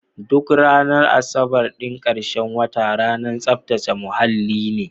Duk ranar asabar ɗin karshen wata ranar tsaftace muhalli ne.